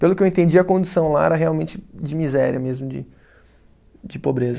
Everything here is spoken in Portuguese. Pelo que eu entendi, a condição lá era realmente de miséria mesmo, de de pobreza.